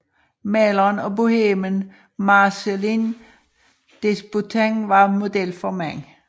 Maleren og bohemen Marcellin Desboutin var model for manden